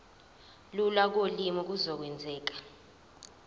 lula kolimi kuzokwenzeka